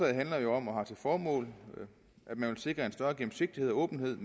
handler jo om og har til formål at man vil sikre en større gennemsigtighed og åbenhed